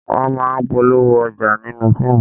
Wọ́n máa ń polówó ọjà nínú fíìmù